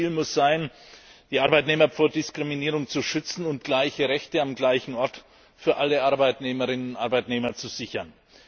Unser Ziel muss es sein, die Arbeitnehmer vor Diskriminierung zu schützen und gleiche Rechte am gleichen Ort für alle Arbeitnehmerinnen und Arbeitnehmer zu sichern.